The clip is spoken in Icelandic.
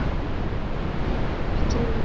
Verkinu er ekki lokið.